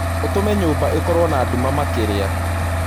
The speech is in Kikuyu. ũtũme nyũmbaĩkorwo na dũma makĩrĩa